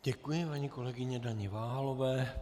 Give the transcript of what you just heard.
Děkuji paní kolegyni Daně Váhalové.